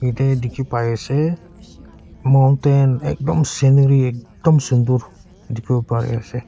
yate dikhi pai ase mountain ekdom scenery ekdom sunder dikhiwo pari ase.